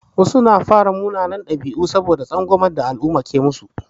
Wasu sukan fara munanan ɗabi'u saboda tsangwamar da al'umma ke musu.